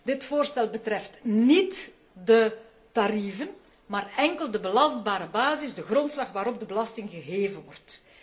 Dit voorstel betreft niet de tarieven, maar enkel de belastbare basis, de grondslag waarop de belasting geheven wordt.